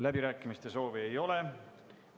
Läbirääkimiste soovi ei ole.